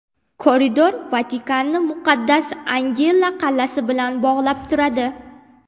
Koridor Vatikanni Muqaddas Angela qal’asi bilan bog‘lab turadi.